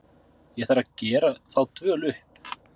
Ég þarf að gera þá dvöl upp.